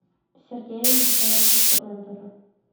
сергея витальевича ондара